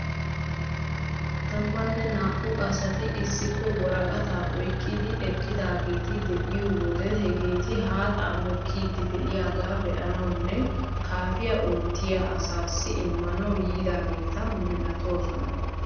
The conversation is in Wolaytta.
Tammanne naa'u asati issippe woraqataa oyqqidi eqqidaageeti de'iyo wode hegeeti haaxaa mokkiiddi de'iyagaa be'anawunne kaafiya oottiya asaassi immanawu yiidaageeta milatoosona..